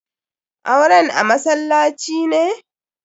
Auren a masallaci ne?